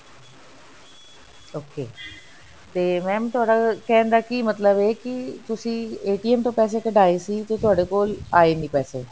okay ਤੇ mam ਤੁਹਾਡਾ ਕਹਿਣ ਦਾ ਕਿ ਮਤਲਬ ਹੈ ਕਿ ਤੁਸੀਂ ਤੋਂ ਪੈਸੇ ਕਢਾਏ ਸੀ ਤੇ ਤੁਹਾਡੇ ਕੋਲ ਆਏ ਨਹੀਂ ਪੈਸੇ